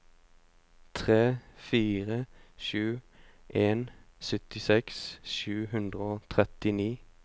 tre fire sju en syttiseks sju hundre og trettini